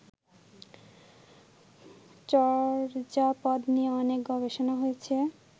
চর্যাপদ নিয়ে অনেক গবেষণা হয়েছে